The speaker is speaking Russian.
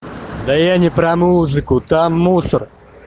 да я не про музыку там мусор